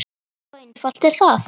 Svo einfalt er það!